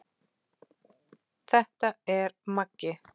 Þetta er Maggi!